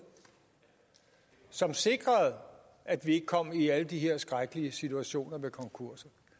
som sikrede at vi ikke kom i alle de her skrækkelige situationer med konkurser